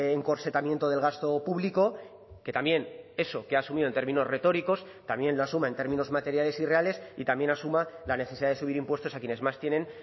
encorsetamiento del gasto público que también eso que ha asumido en términos retóricos también lo asuma en términos materiales irreales y también asuma la necesidad de subir impuestos a quienes más tienen